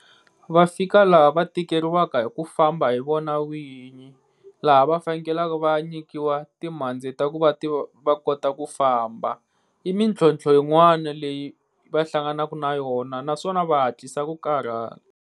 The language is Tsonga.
vaphikizani lava tirheriwaka hi ku famba yivona nwinyi lava vhengeleni va nyikiwa timbyana date hikuva tiva kotaku famba imuntu tlhontlha yinwana leyi vahlanganisi naswona naswona va hatlisa ku karata